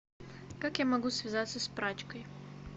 как я могу связаться с прачкой